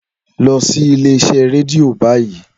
Lọ sí ilé-iṣẹ́ rédíò báyìí!